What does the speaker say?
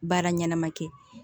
Baara ɲɛnama kɛ